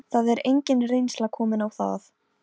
Níelsi var rétt minnsta sveðjan sem til var um borð.